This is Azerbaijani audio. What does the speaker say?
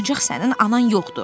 Ancaq sənin anan yoxdur.